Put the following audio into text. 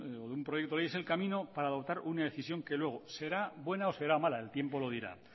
o de un proyecto de ley es el camino para adoptar una decisión que luego será bueno o será mala el tiempo lo dirá